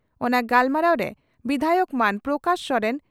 ᱚᱱᱟ ᱜᱟᱞᱢᱟᱨᱟᱣ ᱨᱮ ᱵᱤᱫᱷᱟᱭᱚᱠ ᱢᱟᱹᱱ ᱯᱨᱚᱠᱟᱥ ᱥᱚᱨᱮᱱ